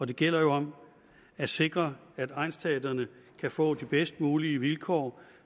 det gælder om at sikre at egnsteatrene kan få de bedst mulige vilkår